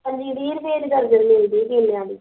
ਅਸੀਂ ਵੀਹ ਰੁਪਈਏ ਦੀ ਦਰਜਨ ਲਈਦੀ ਕੇਲਿਆ ਦੀ